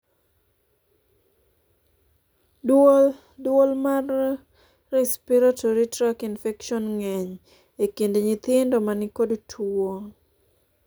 duol duol mar respiratory track infection ng'eny e kind nyithindo manikod tuon